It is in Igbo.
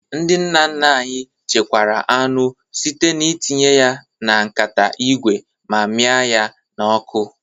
Ndị nna nna anyị chekwara anụ site n'itinye ya na nkata ígwè ma miaa ya na-ọkụ